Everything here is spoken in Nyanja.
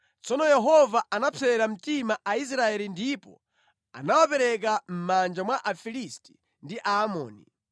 Tsono Yehova anapsera mtima Aisraeli ndipo anawapereka mʼmanja mwa Afilisti ndi Aamoni.